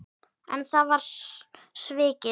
En það var svikið.